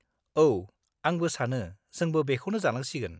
औ, आंबो सानो जोंबो बेखौनो जानांसिगोन।